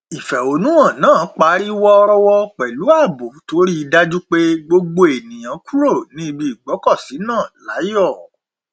ìfẹhónùhàn náà parí wọrọwọ pẹlú ààbò tó rí i dájú pé gbogbo ènìyàn kúrò ní ibi ìgbọkọsí náà láyọ